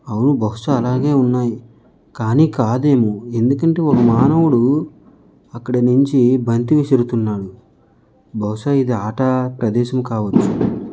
అవును బహుశా అలాగే ఉన్నాయి. కానీ కాదేమో ఇది ఎందుకంటే వాడు మానవుడు అక్కడ నుంచి బంతిసి వెళ్తున్నాడు. బహుశా ఇది ఆట ప్రదేశం కావచ్చు.